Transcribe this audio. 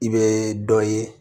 I bɛ dɔ ye